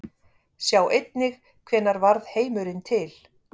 Sjá einnig Hvenær varð heimurinn til?